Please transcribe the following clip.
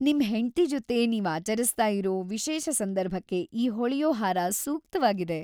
ನಿಮ್ ಹೆಂಡ್ತಿ ಜೊತೆ ನೀವ್ ಆಚರಿಸ್ತಾ ಇರೋ ವಿಶೇಷ ಸಂದರ್ಭಕ್ಕೆ ಈ ಹೊಳೆಯೋ ಹಾರ ಸೂಕ್ತವಾಗಿದೆ.